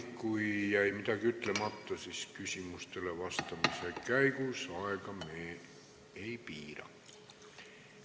Kui midagi jäi ütlemata, siis tuletan meelde, et küsimustele vastamisel me aega ei piira.